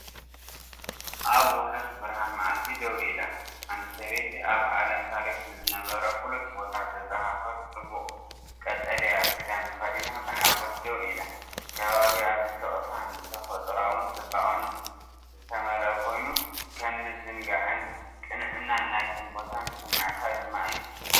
ኣብ ውሑስ ብርሃን መዓልቲ ደው ኢላ፡ ሓንቲ ሰበይቲ ኣብ ዓለም ታሪክ ንዝነበረ ፍሉጥ ቦታ ዘዘኻኽር ጽቡቕ ቀጠልያ ክዳን ተኸዲና ብሓጎስ ደው ኢላ። ከባቢኣ ብስቕታን ተፈጥሮኣዊ ጽባቐን ዝተመልአ ኮይኑ፡ ከም ምዝንጋዕን ቅንዕና ናይቲ ቦታን ዝስምዓካ ድማ እዩ።